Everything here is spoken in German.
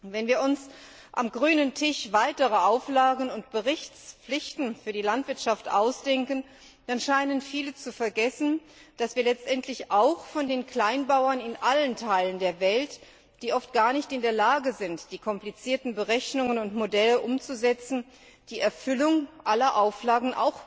Wenn wir uns am grünen Tisch weitere Auflagen und Berichtspflichten für die Landwirtschaft ausdenken, dann scheinen viele zu vergessen, dass wir letztendlich auch von den Kleinbauern in allen Teilen der Welt, die oft gar nicht in der Lage sind, die komplizierten Berechnungen und Modelle umzusetzen, die Erfüllung aller Auflagen